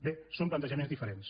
bé són plantejaments diferents